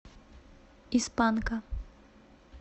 из панка